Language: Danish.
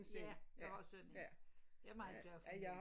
Ja jeg har sådan en jeg er meget glad for min